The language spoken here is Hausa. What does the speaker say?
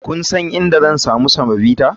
Kun san inda zan sami semovita?